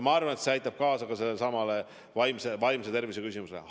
Ma arvan, et see aitab kaasa ka sellesama vaimse tervise küsimuse puhul.